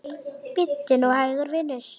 Bíddu nú hægur, vinur.